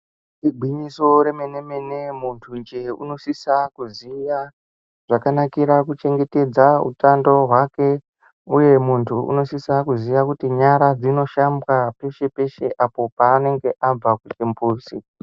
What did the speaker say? Igwinyiso remene-mene muntu njee anosisa kuziya zvakanakira kuchengetedza hutano hwake uye muntu unosisa kuziva kuti nyara dzino shabwa pese pese apo paanenge abva kuchimbuzi.